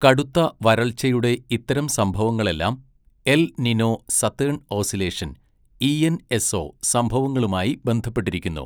കടുത്ത വരൾച്ചയുടെ ഇത്തരം സംഭവങ്ങളെല്ലാം El Nino Southern Oscillation ENSO സംഭവങ്ങളുമായി ബന്ധപ്പെട്ടിരിക്കുന്നു.